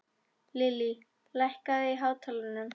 Lillý, lækkaðu í hátalaranum.